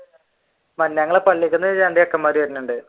ഞങ്ങടെ പള്ളീലത്തെ രണ്ടു ചെക്കന്മാർ വരുന്നുണ്ട്.